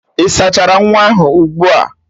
Ị sachara nwa ahụ ugbu a?